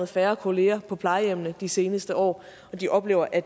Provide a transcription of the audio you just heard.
færre kollegaer på plejehjemmene de seneste år og de oplever at